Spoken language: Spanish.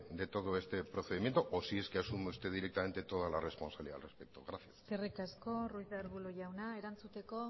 de todo este procedimiento o si es que asume usted directamente toda la responsabilidad al respecto gracias eskerrik asko ruiz de arbulo jauna erantzuteko